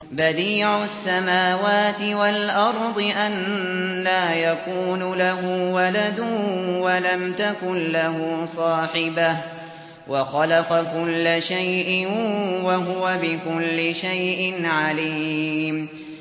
بَدِيعُ السَّمَاوَاتِ وَالْأَرْضِ ۖ أَنَّىٰ يَكُونُ لَهُ وَلَدٌ وَلَمْ تَكُن لَّهُ صَاحِبَةٌ ۖ وَخَلَقَ كُلَّ شَيْءٍ ۖ وَهُوَ بِكُلِّ شَيْءٍ عَلِيمٌ